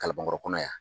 Kalabankɔrɔ kɔnɔ yan